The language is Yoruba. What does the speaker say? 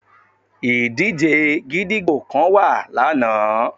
Ìdíje gídígbò kan wà lana